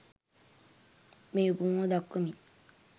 මේ උපමාව දක්වමින්